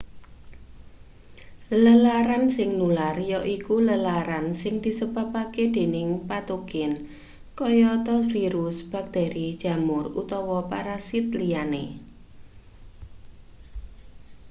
lelaran sing nular yaiku lelaran sing disebabake dening patogen kayata virus bakteri jamur utawa parasit liyane